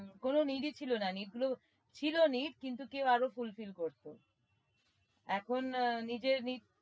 হম কোনো need ই ছিল না need গুলো ছিলো need কিন্তু কেউ আরো fulfill করতো এখন আহ নিজে need